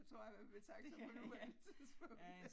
Der tror jeg han vil trække sig på nuværende tidspunkt